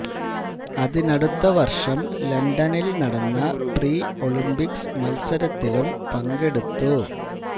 അതിനടുത്ത വർഷം ലണ്ടനിൽ നടന്ന പ്രീ ഒളിമ്പിക്സ് മത്സരത്തിലും പങ്കെടുത്തു